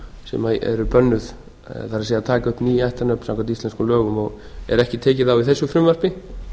sem eru bönnuð það er að taka upp ný ættarnöfn samkvæmt íslenskum lögum og er ekki tekið á í þessu frumvarpi